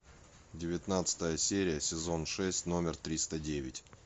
девятнадцатая серия сезон шесть номер триста девять